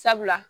Sabula